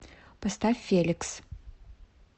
поставь феликс